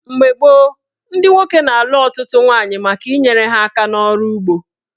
Mgbe gboo, ndị nwoke na-alụ ọtụtụ nwaanyị maka inyere ha aka n'ọrụ ugbo.